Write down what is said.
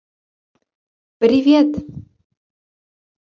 привет